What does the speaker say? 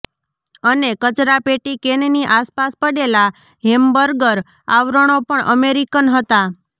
અને કચરાપેટી કેનની આસપાસ પડેલા હેમબર્ગર આવરણો પણ અમેરિકન હતા